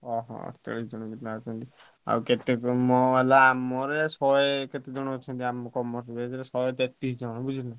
ଓହୋ ଆଉ କେତେ କଣ ମୋର ହେଲା ଶହେ କେତେ ଜଣ ଅଛନ୍ତି ଆମର Commerce batch ରେ ଶହେ ତେତିଶ ଜଣ ବୁଝିଲୁ କି?